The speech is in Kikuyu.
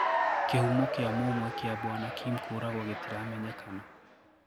Kihumo kiã mũmwe kia Bwana Kim kũũragwõ gĩtiramenyekana